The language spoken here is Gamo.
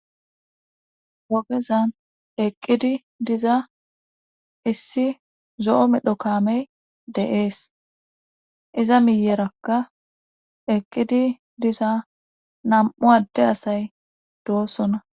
ogezan eqqidi diza issi zo7o medho kaamey deees iza miyerakka eqqidi diza nam7u adde asay doosona